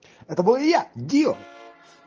это был я дил